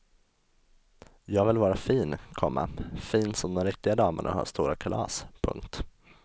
Jag vill vara fin, komma fin som de riktiga damerna och ha stora kalas. punkt